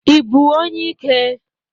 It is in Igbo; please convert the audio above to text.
Ị bụ onye ike?